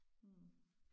Hm